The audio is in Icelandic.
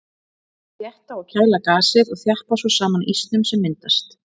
Þær þétta og kæla gasið og þjappa svo saman ísnum sem myndast.